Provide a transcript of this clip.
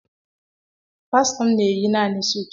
pastọ m na-eyi naanị suit.